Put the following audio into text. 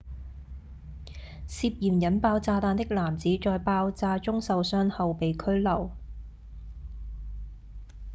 涉嫌引爆炸彈的男子在爆炸中受傷後被拘留